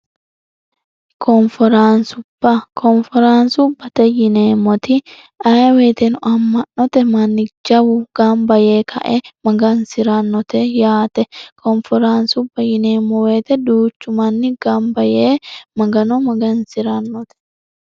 koonforaansua koonforaansubbate yineemmoti ayeweyiteno amma'note manni jawu gamba yee kae magansi'rannote yaate koonforaansubba yineemmo woyite duuchu manni gamba yee magano magansi'rannote